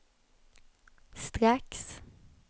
strax